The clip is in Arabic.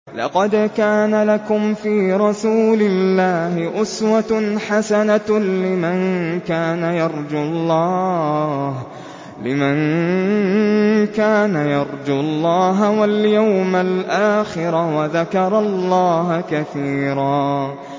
لَّقَدْ كَانَ لَكُمْ فِي رَسُولِ اللَّهِ أُسْوَةٌ حَسَنَةٌ لِّمَن كَانَ يَرْجُو اللَّهَ وَالْيَوْمَ الْآخِرَ وَذَكَرَ اللَّهَ كَثِيرًا